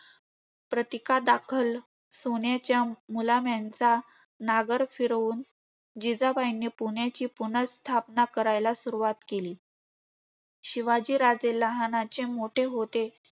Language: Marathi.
प्रतीका दाखल सोन्याच्या मुलाम्यांचा नागर फिरवून, जिजाबाईंनी पुण्याची पुनर्स्थापना करायला सुरुवात केली. शिवाजीराजे लहानाचे मोठे